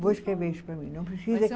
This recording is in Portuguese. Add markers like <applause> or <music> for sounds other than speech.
Vou escrever isso para mim, não precisa <unintelligible>